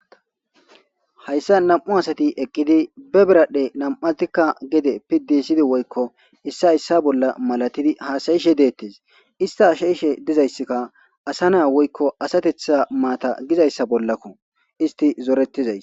Hayssa nam'u asati eqqidi be beradhdhe nam7atikka gede piddisidi woykko issa issa bolla malatidi haasayishe deettes ista ashayishe dizayssikka asa naa woykko asatetha maata gizayssa bollakko isti zoorettizay..